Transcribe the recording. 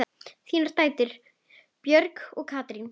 Þínar dætur, Björg og Katrín.